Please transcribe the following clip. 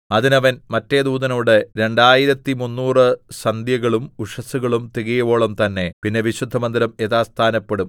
അതിന് അവൻ മറ്റെ ദൂതനോട് രണ്ടായിരത്തിമുന്നൂറ് സന്ധ്യകളും ഉഷസ്സുകളും തികയുവോളം തന്നെ പിന്നെ വിശുദ്ധമന്ദിരം യഥാസ്ഥാനപ്പെടും